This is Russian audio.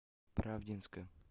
правдинска